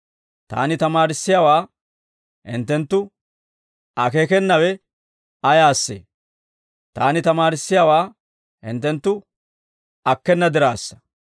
Taani tamaarissiyaawaa hinttenttu akeekenawe ayaasee? Taani tamaarissiyaawaa hinttenttu akkena diraassa.